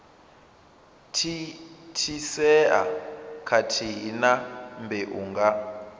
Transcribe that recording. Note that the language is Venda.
thithisea khathihi na mbeu nga